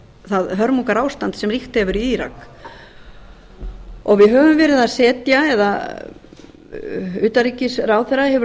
það hörmungarástand sem ríkt hefur í írak við höfum verið að setja eða hæstvirts utanríkisráðherra hefur